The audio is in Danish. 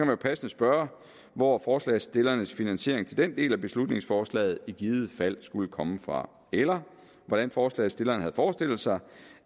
man jo passende spørge hvor forslagsstillernes finansiering til den del af beslutningsforslaget i givet fald skulle komme fra eller hvordan forslagsstillerne havde forestillet sig